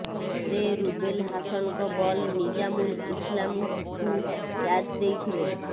ସେ ରୁବେଲ ହାସନଙ୍କ ବଲ ନିଜାମୁଲ ଇସଲାମଙ୍କୁ କ୍ୟାଚ ଦେଇଥିଲେ